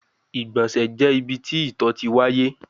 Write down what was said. Igbọnsẹ jẹ ibi ti ito ti waye